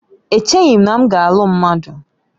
Echeghị m na m ga-alụ mmadụ